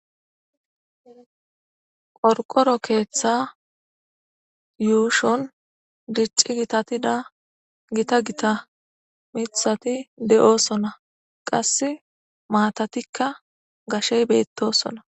qorqoro keeththa yuushon dicci gitatida gita gita mithati de7osona qass maatatikka gashey beettosona